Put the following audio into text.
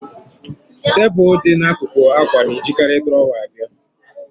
Tebụl dị n'akụkụ akwa na-ejikarị drawer abịa